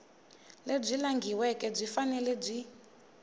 lebyi langhiweke byi fanele byi